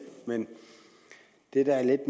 det der er